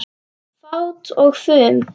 Fát og fum